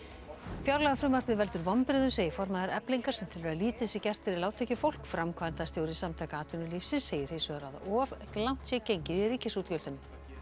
fjárlagafrumvarpið veldur vonbrigðum segir formaður Eflingar sem telur að lítið sé gert fyrir lágtekjufólk framkvæmdastjóri Samtaka atvinnulífsins segir hins vegar að of langt sé gengið í ríkisútgjöldum